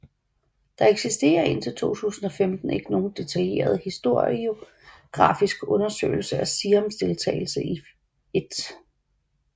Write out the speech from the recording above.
Der eksisterer indtil 2015 ikke nogen detaljeret historiografisk undersøgelse af Siams deltagelse i 1